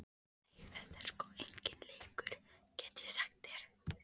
Nei, þetta er sko enginn leikur, get ég sagt þér.